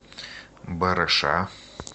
барыша